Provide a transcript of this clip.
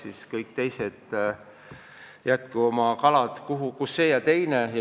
Ja kõik teised jätku oma kalad kus see ja teine.